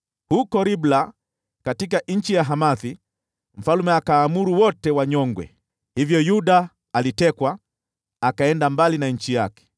Huko Ribla, katika nchi ya Hamathi, mfalme wa Babeli akaamuru wanyongwe. Hivyo Yuda wakaenda utumwani, mbali na nchi yao.